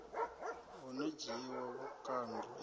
ho no dzhiiwa vhukando e